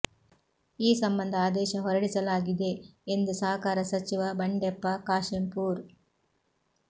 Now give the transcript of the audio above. ಈ ಸಂಬಂಧ ಆದೇಶ ಹೊರಡಿಸಲಾಗಿದೆ ಎಂದು ಸಹಕಾರ ಸಚಿವ ಬಂಡೆಪ್ಪ ಕಾಶೆಂಪೂರ್